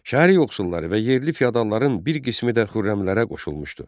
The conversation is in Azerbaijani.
Şəhər yoxsulları və yerli fiadalların bir qismi də Xürrəmlərə qoşulmuşdu.